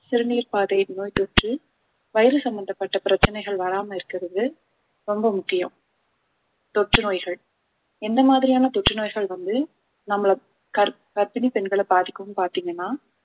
சிறுநீர் பாதை நோய் தொற்று வயிறு சம்பந்தப்பட்ட பிரச்சனைகள் வராம இருக்கிறது ரொம்ப முக்கியம் தொற்று நோய்கள் எந்த மாதிரியான தொற்று நோய்கள் வந்து நம்மளை கர்~ கர்ப்பிணி பெண்களை பாதிக்கும் பார்த்தீங்கன்னா